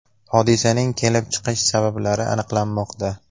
Hodisaning kelib chiqish sabablari aniqlanmoqda.